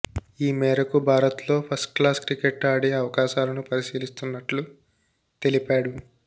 ఈ మేరకు భారత్లో ఫస్ట్క్లాస్ క్రికెట్ ఆడే అవకాశాలను పరిశీలిస్తున్నట్లు తెలిపాడు